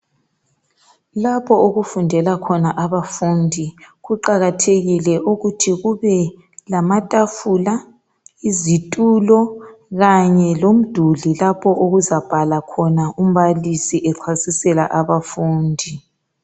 Lapho okufundela khona abafundi kuqakathekile ukuthi kube lamatafula, izitulo kanye lomduli lapho okuzabhala khona umbalisi echasisela abafundi.